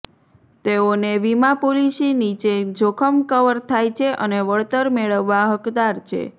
તેઓને વિમા પોલીસી નીચે જોખમ કવર થાય છે અને વળતર મેળવવા હકદાર છે